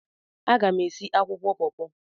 Aga m esi akwụkwọ pọọpọ.